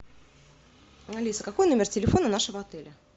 алиса какой номер телефона нашего отеля